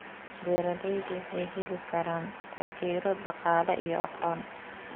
Beeraleydu waxay heli karaan taageero dhaqaale iyo aqoon.